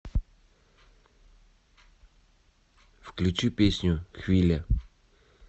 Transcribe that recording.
включи песню хвиля